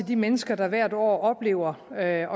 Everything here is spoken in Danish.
de mennesker der hvert år oplever at